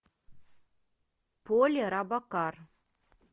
поли робокар